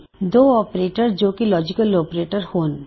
ਦੋ ਆਪਰੇਟਰ ਜੋ ਕੀ ਲੋਜਿਕਲ ਆਪਰੇਟਰ ਹੋਣ